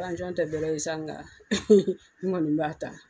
tɛ bɛɛrɛ ye sa nka n kɔni b'a ta